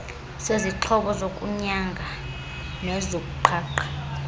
sezixhobo zokunyanga nezokuqhaqha